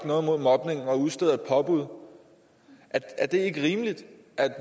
noget mod mobning og udsteder et påbud er det så ikke rimeligt